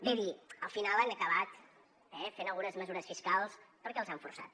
ve a dir al final han acabat fent algunes mesures fiscals perquè els han forçat